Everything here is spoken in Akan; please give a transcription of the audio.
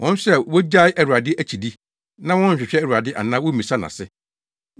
wɔn nso a wogyae Awurade akyidi na wɔnhwehwɛ Awurade anaa wommisa nʼase.”